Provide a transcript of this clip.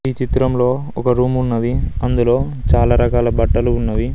ఈ చిత్రంలో ఒక రూమ్ ఉన్నది అందులో చాలా రకాల బట్టలు ఉన్నవి.